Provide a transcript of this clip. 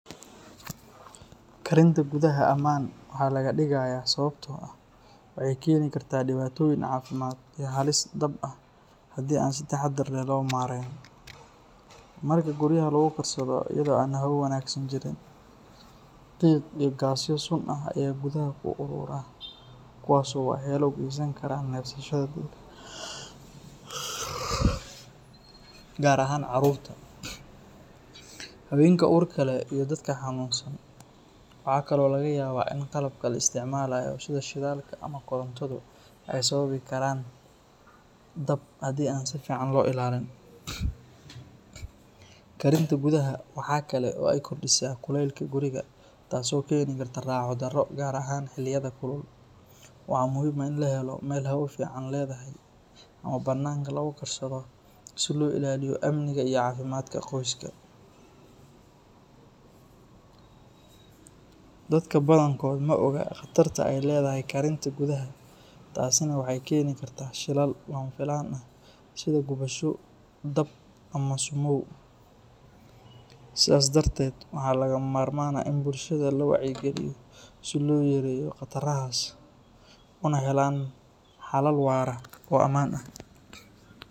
Karinta gudaha ammaan waxaa laga digayaa sababtoo ah waxay keeni kartaa dhibaatooyin caafimaad iyo halis dab ah haddii aan si taxaddar leh loo maareyn. Marka guryaha lagu karsado iyadoo aan hawo wanaagsan jirin, qiiq iyo gaasyo sun ah ayaa gudaha ku urura kuwaas oo waxyeello u geysan kara neefsashada dadka gaar ahaan carruurta, haweenka uurka leh iyo dadka xanuunsan. Waxa kale oo laga yaabaa in qalabka la isticmaalayo sida shidaalka ama korontadu ay sababi karaan dab haddii aan si fiican loo ilaalin. Karinta gudaha waxa kale oo ay kordhisaa kulaylka guriga taasoo keeni karta raaxo darro gaar ahaan xilliyada kulul. Waxaa muhiim ah in la helo meel hawo fiican leedahay ama bannaanka lagu karsado si loo ilaaliyo amniga iyo caafimaadka qoyska. Dadka badankood ma oga khatarta ay leedahay karinta gudaha taasina waxay keeni kartaa shilal lama filaan ah sida gubasho, dab ama sumow. Sidaas darteed waxaa lagama maarmaan ah in bulshada la wacyi geliyo si loo yareeyo khatarahaas una helaan xalal waara oo ammaan ah.